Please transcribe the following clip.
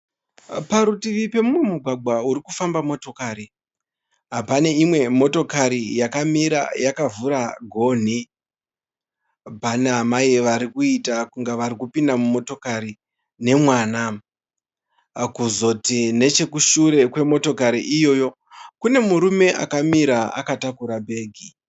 Parutivi pemumugwagwa urikufamba motokari, pane imwe motokari yakamira yakavhura gonhi. Pana amai varikuita kunge varikupinda mumotokari nemwana. Kuzoti nechekushure kwemotokari iyoyo kune murume akamira akatakura bhegi.